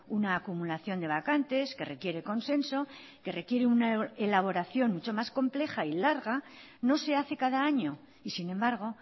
una acumulación de vacantes que requiere consenso que requiere una elaboración mucho más compleja y larga no se hace cada año y sin embargo